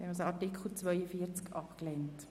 Das ist nicht der Fall.